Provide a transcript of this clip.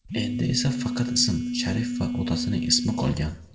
Endi esa faqat ism, sharif va otasining ismi qolgan.